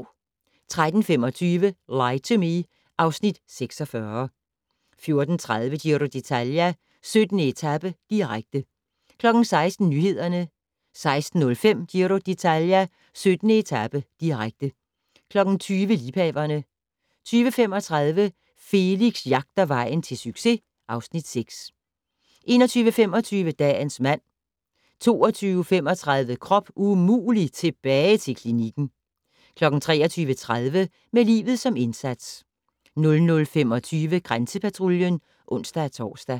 13:25: Lie to Me (Afs. 46) 14:30: Giro d'Italia: 17. etape, direkte 16:00: Nyhederne 16:05: Giro d'Italia: 17. etape, direkte 20:00: Liebhaverne 20:35: Felix jagter vejen til succes (Afs. 6) 21:25: Dagens mand 22:35: Krop umulig - tilbage til klinikken 23:30: Med livet som indsats 00:25: Grænsepatruljen (ons-tor)